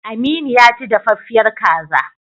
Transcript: Aminu ya ci daffiyar kaza.